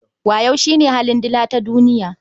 Wayo shi ne halin dila tatuniya.